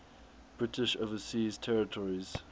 british overseas territories